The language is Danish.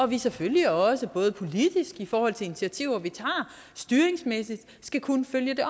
vi selvfølgelig også både politisk i forhold til initiativer vi tager og styringsmæssigt skal kunne følge det